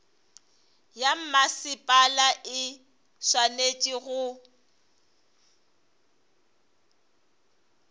ya mmasepala e swanetše go